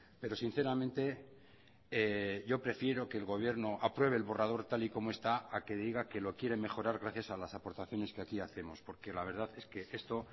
pero sinceramente yo prefiero que el gobierno apruebe el borrador tal y como está a que diga que lo quiere mejorar gracias a las aportaciones que aquí hacemos porque la verdad es que esto